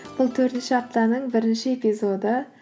бұл төртінші аптаның бірінші эпизоды